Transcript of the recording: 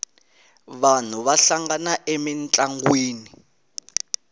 vanhu va hlangana emintlangwini